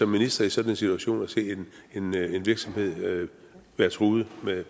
minister i sådan en situation og set en virksomhed være truet